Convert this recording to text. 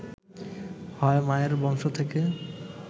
হয় মায়ের বংশ থেকে